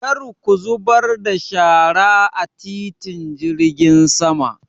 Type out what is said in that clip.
Kar ku zubar da shara a titin jirgin sama!